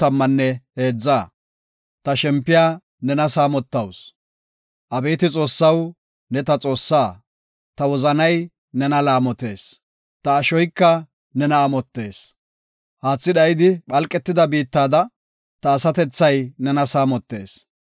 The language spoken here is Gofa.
Abeeti Xoossaw, ne ta Xoossaa; ta wozanay nena laamotees; ta ashoyka nena amottees. Haathi dhayidi phalqetida biittada, ta asatethay nena saamotees.